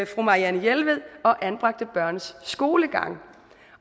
fru marianne jelved og anbragte børns skolegang